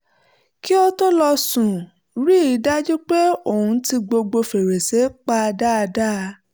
kí ó tó lọ sùn ó rí i dájú pé òun ti gbogbo fèrèsé pa dáadáa